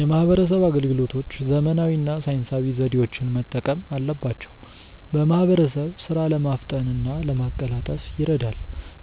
የማህበረሰብ አገልግሎቶች ዘመናዊ እና ሳይንሳዊ ዘዴዎችን መጠቀም አለባቸው። በማህበረሰብ ሥራ ለማፍጠን እና ለማቀላጠፍ ይረዳል።